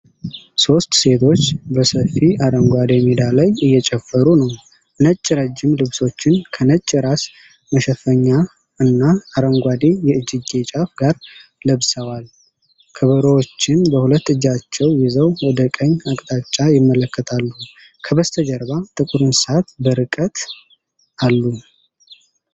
ሶስት ሴቶች በሰፊ አረንጓዴ ሜዳ ላይ እየጨፈሩ ነው። ነጭ ረጅም ልብሶችን ከነጭ የራስ መሸፈኛ እና አረንጓዴ የእጅጌ ጫፍ ጋር ለብሰዋል። ከበሮዎችን በሁለት እጃቸው ይዘው ወደ ቀኝ አቅጣጫ ይመለከታሉ። ከበስተጀርባ ጥቁር እንስሳት በርቀት አሉ።